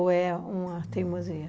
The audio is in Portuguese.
Ou é uma teimosia?